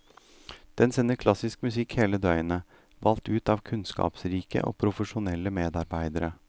Den sender klassisk musikk hele døgnet, valgt ut av kunnskapsrike og profesjonelle medarbeidere.